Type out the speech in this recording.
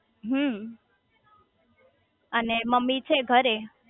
હમ્મ અને મમ્મી છે ઘરે